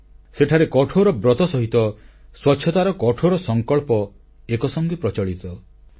ସବରୀମାଲାରେ ପାଳନ କରାଯାଉଥିବା କଠୋର ବ୍ରତ ସହିତ ସ୍ୱଚ୍ଛତାର ଦୃଢ ସଂକଳ୍ପ ଏକ ସଂଗେ ପ୍ରଚଳିତ